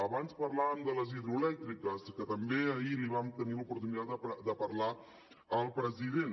abans parlàvem de les hidroelèctriques que també ahir vam tenir l’oportunitat de parlar ne al president